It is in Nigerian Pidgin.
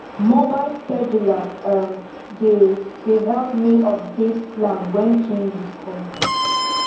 mobile scheduler um dey dey help me update plan wen changes come up